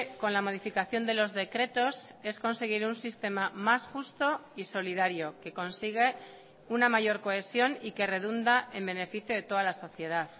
con la modificación de los decretos es conseguir un sistema más justo y solidario que consigue una mayor cohesión y que redunda en beneficio de toda la sociedad